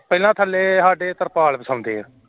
ਪਹਿਲਾਂ ਥੱਲੇ ਸਾਡੇ ਤਰਪਾਲ ਵਿਛਾਉਂਦੇ ਏ